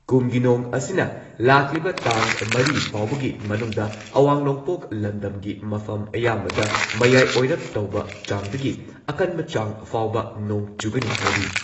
ꯀꯨꯝꯒꯤ ꯅꯣꯡ ꯑꯁꯤꯅ ꯂꯥꯛꯂꯤꯕ ꯇꯥꯡ ꯃꯔꯤ ꯐꯥꯎꯕꯒꯤ ꯃꯅꯨꯡꯗ ꯑꯋꯥꯡ ꯅꯣꯡꯄꯣꯛ ꯂꯝꯗꯝꯒꯤ ꯃꯐꯝ ꯑꯌꯥꯝꯕꯗ ꯃꯌꯥꯏ ꯑꯣꯏꯔꯞ ꯇꯧꯕ ꯆꯥꯡꯗꯒꯤ ꯑꯀꯟꯕ ꯆꯥꯡ ꯐꯥꯎꯕ ꯅꯣꯡ ꯆꯨꯒꯅꯤ ꯍꯥꯏꯔꯤ ꯫